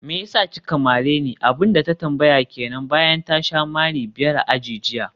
meyasa kika mareni?, abinda ta tambaya kenan bayan ta sha mari biyar a aji jiya